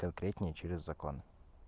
конкретнее через закон